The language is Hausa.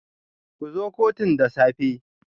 Ku zo kotun da safe.